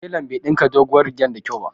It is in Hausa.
Telan bai ɗinka doguwar rigar da kyau ba